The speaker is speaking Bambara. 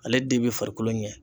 Ale den bɛ farikolo ɲɛ